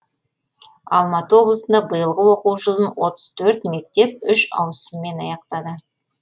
алматы облысында биылғы оқу жылын отыз төрт мектеп үш ауысыммен аяқтады